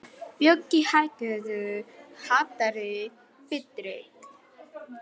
Bjöggi, hækkaðu í hátalaranum.